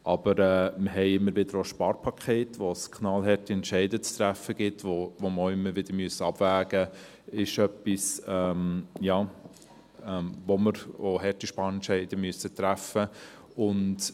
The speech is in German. Aber wir haben immer wieder auch Sparpakete, bei denen es knallharte Entscheide zu treffen gibt, wo wir auch immer wieder abwägen und harte Sparentscheide treffen müssen.